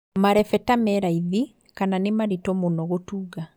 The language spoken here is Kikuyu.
Marebeta me raithi kana nĩ maritũ mũno gũtunga